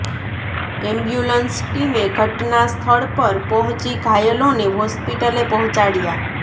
ambulance ટીમે ઘટના સ્થળ પર પહોંચી ઘાયલોને હોસ્પિટલે પહોંચાડ્યા